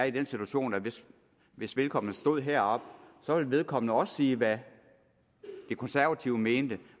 i den situation hvis hvis vedkommende stod heroppe at vedkommende også ville sige hvad de konservative mente